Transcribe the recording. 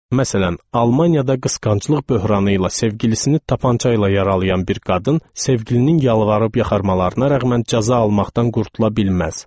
Məsələn, Almaniyada qısqanclıq böhranı ilə sevgilisini tapança ilə yaralayan bir qadın sevgilinin yalvarıb yaxarmalarına rəğmən cəza almaqdan qurtula bilməz.